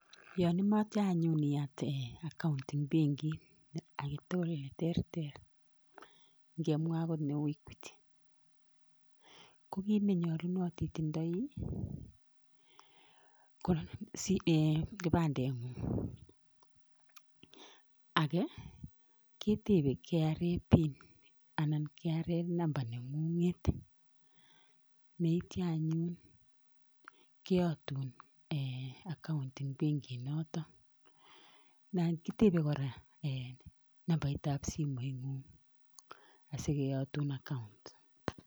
Yan imache anyun iyat account en benkit age tugul ne terter, ngemwa agot neu Equity. Ko kiit ne nyalunot itindai ko kipandeng'ung'. Age ketepe KRA pin anan ko KRA number neng'ung'et tety anyun keyatun account en benkinoton. Kitepe kora nambarit ap simoing'ung asikeyatun account.